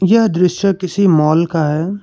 यह दृश्य किसी माल का है।